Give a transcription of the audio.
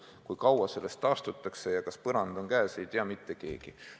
Seda, kui kaua sellest taastutakse ja kas põrand on käes, ei tea mitte keegi.